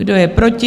Kdo je proti?